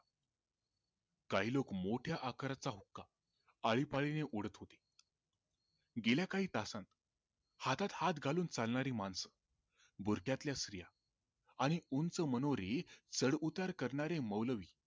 काही लोक मोठ्या आकाराचा हुक्का आळीपाळीने ओढत होते गेल्या काही तासात हातात हात घालूनचालनारी माणसे बुरख्यातल्या स्त्रिया आणि उंच मनोरे चढ उतर करणारे मौलवी